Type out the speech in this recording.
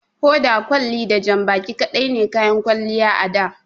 Hoda, kwalli da janbaki kaɗai ne kayan kwalliya a da.